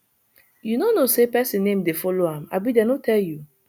you no know say person name dey follow am abi dey no tell you